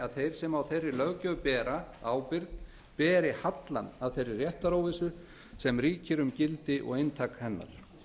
að þeir sem á þeirri löggjöf bera ábyrgð beri hallann af þeirri réttaróvissu sem ríkir um gildi og inntak hennar